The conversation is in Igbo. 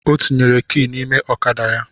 Ọ tinyere ki n’ime ọkada ya